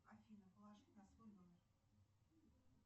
афина положить на свой номер